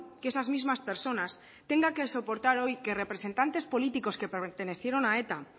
que esas mismas personas tengan que soportar hoy que representantes políticos que pertenecieron a eta